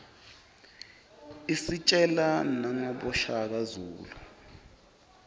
isitjela nangaboshaka zulu